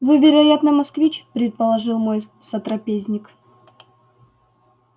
вы вероятно москвич предположил мой сотрапезник